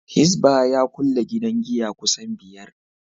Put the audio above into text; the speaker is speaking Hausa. Hisbah ya kulle gidan giya kusan biyar